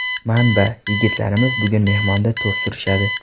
Manba: Yigitlarimiz bugun mehmonda to‘p surishadi.